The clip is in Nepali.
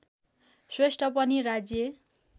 श्रेष्ठ पनि राज्य